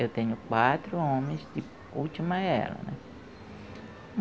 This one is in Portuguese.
Eu tenho quatro homens e última é ela, né?